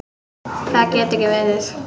Það gat ekki verið.